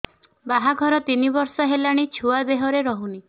ବାହାଘର ତିନି ବର୍ଷ ହେଲାଣି ଛୁଆ ଦେହରେ ରହୁନି